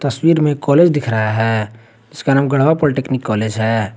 तस्वीर में एक कॉलेज दिख रहा है इसका नाम गढ़वा पॉलिटेक्निक कॉलेज है।